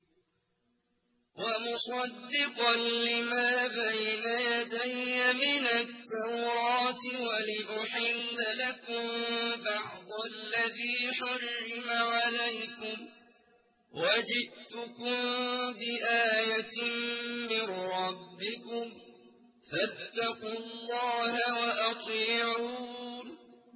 وَمُصَدِّقًا لِّمَا بَيْنَ يَدَيَّ مِنَ التَّوْرَاةِ وَلِأُحِلَّ لَكُم بَعْضَ الَّذِي حُرِّمَ عَلَيْكُمْ ۚ وَجِئْتُكُم بِآيَةٍ مِّن رَّبِّكُمْ فَاتَّقُوا اللَّهَ وَأَطِيعُونِ